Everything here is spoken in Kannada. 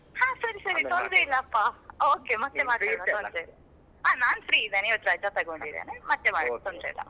ಹಾ ಸರಿ ಸರಿ ತೊಂದರೆ ಇಲ್ಲಪ್ಪ okay ಮತ್ತೆ ಮಾತಾಡುವ ತೊಂದ್ರೆ ಇಲ್ಲ . ಹಾ ನಾನು free ಇದೇನೇ ಇವತ್ ರಜಾ ತಕೊಂಡಿದ್ದೇನೆ ಮತ್ತೆ ಮಾಡಿ ತೊಂದ್ರೆ ಇಲ್ಲ.